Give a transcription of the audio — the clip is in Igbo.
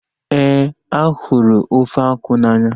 Éè, a hụrụ ofe akwụ n'anya